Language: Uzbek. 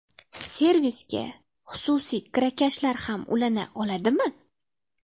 Servisga xususiy kirakashlar ham ulana oladimi?